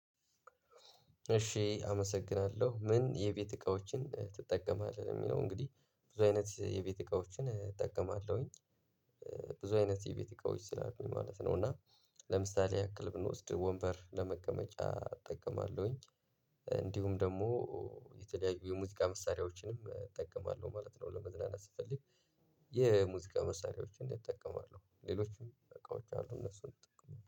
እሺ አመሰግናለሁ ምን የቤት እቃዎችን ትጠቀማለህ ሚለው እንግዲህ ብዙ አይነት የቤት እቃዎችን እጠቀማለሁኝ። ብዙ አይነት የቤት እቃዎች ስላሉኝ ማለት ነው። እና ለምሳሌ ያክል ብንወስድ ወንበር ለመቀመጫ እጠቀማለሁኝ። እንዲሁም ደግሞ የተለያዩ የሙዚቃ መሳሪያዎችንም እጠቀማለሁ ማለት ነው። ለመዝናናት ስፈልግ የሙዚቃ መሳሪያዎችን እጠቀማለሁ። ሌሎችም እቃዎች አሉ እነሱን